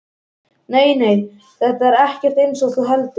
Nei, nei, þetta er ekkert eins og þú heldur.